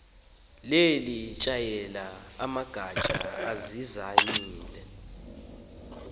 lelitshayelela amagatya azizayami